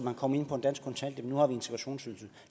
og kom ind på en dansk kontanthjælp nu har vi integrationsydelsen